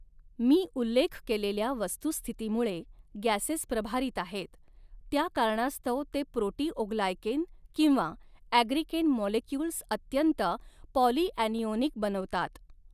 मी उल्लेख केलेल्या वस्तुस्थितीमुळे गॅसेस प्रभारित आहेत, त्या कारणास्तव ते प्रोटीओग्लायकेन किंवा ॲग्रीकेन मॉलेक्युल्स अत्यंत पॉलिॲनिओनिक बनवतात.